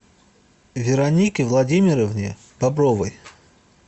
веронике владимировне бобровой